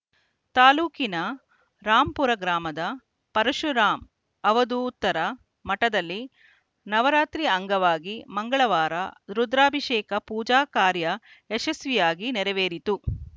ತಾಲೂಕಿನ ರಾಂಪುರ ಗ್ರಾಮದ ಪರುಶುರಾಮ ಅವಧೂತರ ಮಠದಲ್ಲಿ ನವರಾತ್ರಿ ಅಂಗವಾಗಿ ಮಂಗಳವಾರ ರುದ್ರಾಭಿಷೇಕ ಪೂಜಾ ಕಾರ್ಯ ಯಶಸ್ವಿಯಾಗಿ ನೆರವೇರಿತು